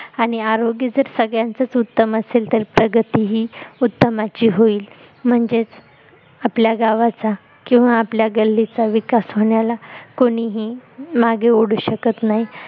आणि आरोग्य जर संगळ्यांचच उत्तम असेल तर प्रगती ती उत्तमाची होईल म्हणजेच आपल्या गावचा किंवा आपल्या गल्लीचा विकास होण्याला कोणीही मागं ओढू शकत नाही